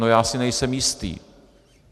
No, já si nejsem jistý.